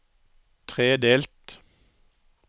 tredelt